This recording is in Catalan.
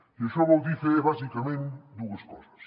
i això vol dir fer bàsicament dues coses